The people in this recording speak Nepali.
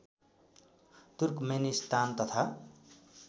तुर्कमेनिस्तान तथा